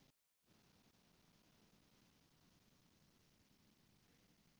Þetta var sú aldagamla rússneska von þeirra sem ranglæti sæta